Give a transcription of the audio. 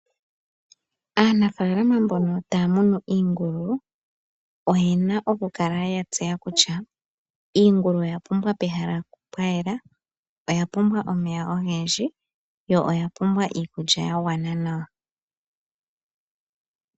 Aanafaalama mbono taya munu iingulu oyena oku kala ya tseya kutya iingulu oya pumbwa pehala pwa yela, oya pumbwa omeya ogendji yo oya pumbwa omeya ga gwana nawa